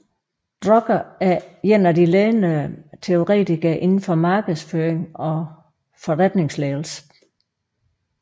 Drucker er en af de ledende teoretikere indenfor markedsføring og forretningsledelse